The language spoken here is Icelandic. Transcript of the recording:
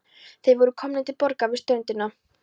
Þau voru komin til borgar við ströndina.